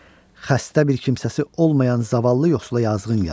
Xəstə bir kimsəsi olmayan zavallı yoxsula yazığın gəlsin.